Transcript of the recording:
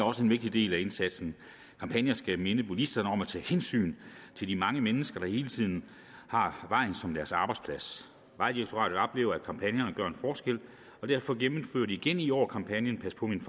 også en vigtig del af indsatsen kampagner skal minde bilisterne om at tage hensyn til de mange mennesker der hele tiden har vejen som deres arbejdsplads vejdirektoratet oplever at kampagnerne gør en forskel og derfor gennemfører de igen i år kampagnen pas på min